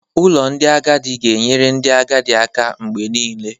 Ụlọ ndị agadi ga-enyere ndị agadi aka mgbe niile.